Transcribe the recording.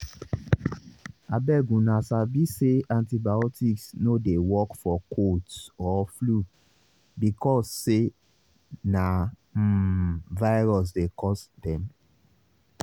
abeguna sabi say antibiotics no dey work for colds or flu because say na um virus dey cause dem